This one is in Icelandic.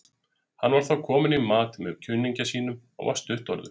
Hann var þá kominn í mat með kunningja sínum og var stuttorður.